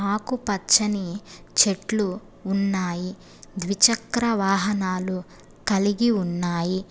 ఆకు పచ్చని చెట్లు ఉన్నాయి ద్విచక్ర వాహనాలు కలిగి ఉన్నాయి.